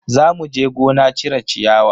Za muje gona cire ciyawa.